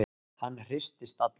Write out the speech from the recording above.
Hann hristist allur.